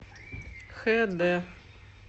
хд